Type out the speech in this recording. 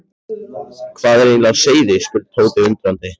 Hvað er eiginlega á seyði? spurði Tóti undrandi.